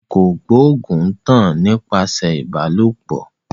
Àrùn kògbóògùn ń tàn nípasẹ̀ ìbálòpọ̀